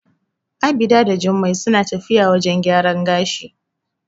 Abida da Jummai suna tafiya wajen gyaran gashi.